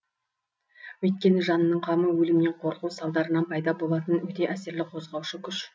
өйткені жанның қамы өлімнен қорқу салдарынан пайда болатын өте әсерлі қозғаушы күш